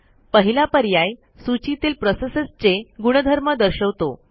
पहिला पर्याय सूचीतील प्रोसेसेसचे गुणधर्म दर्शवतो